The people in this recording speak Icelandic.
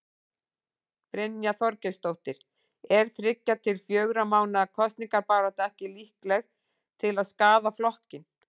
Brynja Þorgeirsdóttir: Er þriggja til fjögurra mánaða kosningabarátta ekki líkleg til að skaða flokkinn?